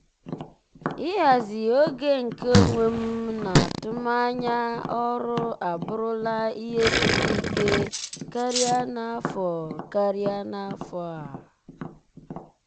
ịhazi oge nke onwe m na atụmanya ọrụ abụrụla ihe siri ike karịa n'afọ karịa n'afọ a.